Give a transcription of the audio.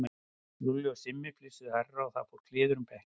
Lúlli og Simmi flissuðu hærra og það fór kliður um bekkinn.